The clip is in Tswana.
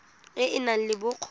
e e nang le bokgoni